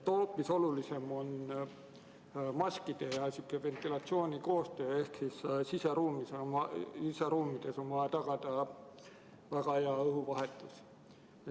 Hoopis olulisem on maskide ja ventilatsiooni koostöö ehk siseruumides on vaja tagada väga hea õhuvahetus.